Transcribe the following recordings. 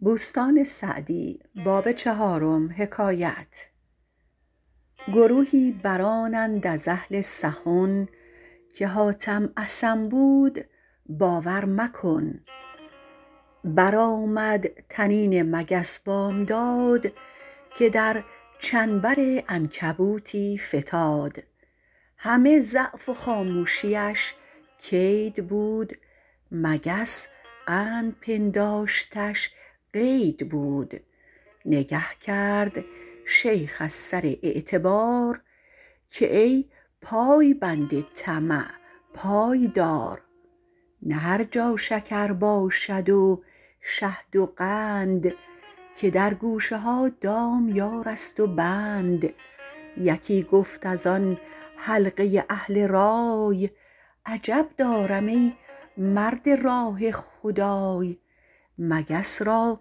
گروهی برآنند از اهل سخن که حاتم اصم بود باور مکن برآمد طنین مگس بامداد که در چنبر عنکبوتی فتاد همه ضعف و خاموشیش کید بود مگس قند پنداشتش قید بود نگه کرد شیخ از سر اعتبار که ای پایبند طمع پای دار نه هر جا شکر باشد و شهد و قند که در گوشه ها دامیار است و بند یکی گفت از آن حلقه اهل رای عجب دارم ای مرد راه خدای مگس را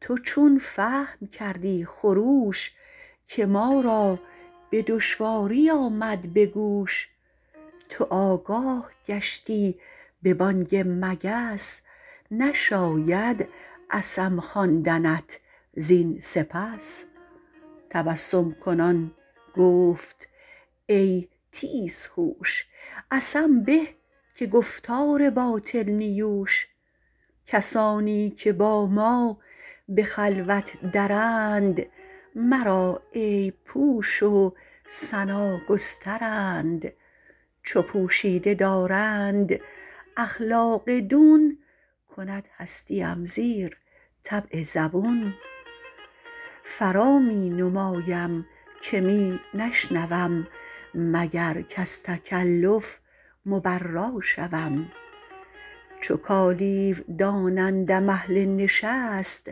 تو چون فهم کردی خروش که ما را به دشواری آمد به گوش تو آگاه گشتی به بانگ مگس نشاید اصم خواندنت زین سپس تبسم کنان گفت ای تیز هوش اصم به که گفتار باطل نیوش کسانی که با ما به خلوت درند مرا عیب پوش و ثنا گسترند چو پوشیده دارند اخلاق دون کند هستیم زیر طبع زبون فرا می نمایم که می نشنوم مگر کز تکلف مبرا شوم چو کالیو دانندم اهل نشست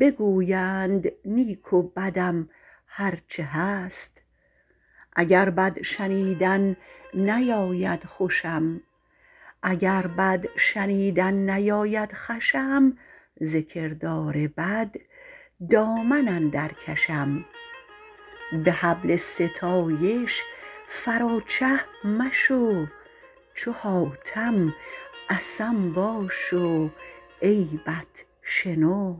بگویند نیک و بدم هر چه هست اگر بد شنیدن نیاید خوشم ز کردار بد دامن اندر کشم به حبل ستایش فرا چه مشو چو حاتم اصم باش و عیبت شنو